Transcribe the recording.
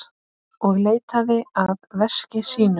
Og leitaði að veski sínu.